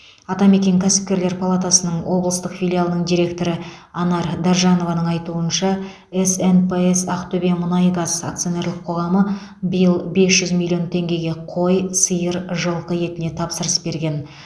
атамекен кәсіпкерлер палатасының облыстық филиалының директоры анар даржанованың айтуынша снпс ақтөбемұнайгаз акционерлік қоғамы биыл бес жүз миллион теңгеге қой сиыр жылқы етіне тапсырыс берген